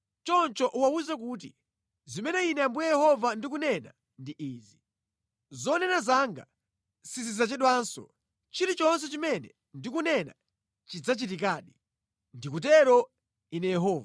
“Choncho uwawuze kuti, ‘zimene Ine Ambuye Yehova ndikunena ndi izi: Zonena zanga sizidzachedwanso; chilichonse chimene ndikunena chidzachitikadi. Ndikutero Ine Yehova.’ ”